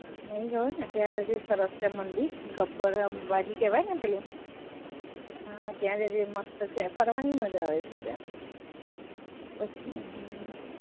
નહીં ગયો ને, ત્યાં જજે, સરસ છે મંદિર, ગબ્બર અંબાજી કેહવાય ને પેલું, ત્યાં જજે મસ્ત છે, ફરવાની મજા આવે છે ત્યાં.